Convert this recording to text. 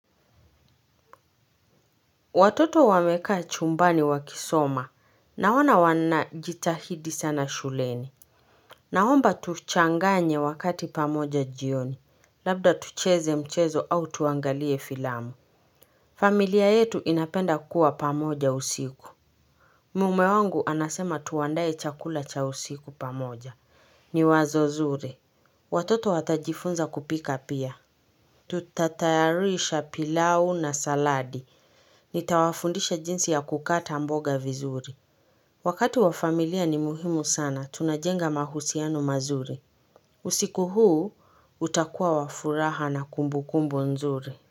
Watoto wamekaa chumbani wakisoma, na ona wanajitahidi sana shuleni. Naomba tuchanganye wakati pamoja jioni, labda tucheze mchezo au tuangalie filamu. Familia yetu inapenda kuwa pamoja usiku. Mume wangu anasema tuandae chakula cha usiku pamoja. Ni wazo zuri. Watoto watajifunza kupika pia. Tutatayarisha pilau na saladi. Nitawafundisha jinsi ya kukata mboga vizuri. Wakati wa familia ni muhimu sana, tunajenga mahusiano mazuri. Usiku huu, utakuwa wa furaha na kumbukumbu nzuri.